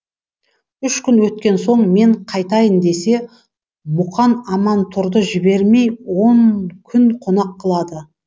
үш күн өткен соң мен қайтайын десе мұқан амантұрды жібермей он күн қонақ қылады